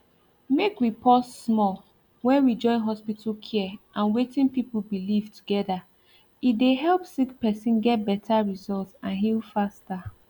make we pause small when we join hospital care and wetin people believe together e dey help sick person get better result and heal faster